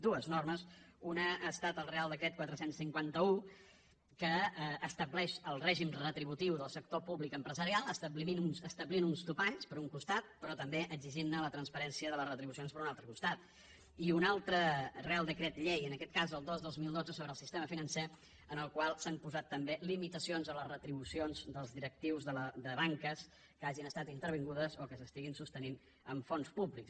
dues normes una ha estat el reial decret quatre cents i cinquanta un que estableix el règim retributiu del sector públic empresarial establint uns topalls per un costat però també exigint la transparència de les retribucions per un altre costat i un altre reial decret llei en aquest cas el dos dos mil dotze sobre el sistema financer amb el qual s’han posat també limitacions a les retribucions dels directius de banques que hagin estat intervingudes o que se sostinguin amb fons públics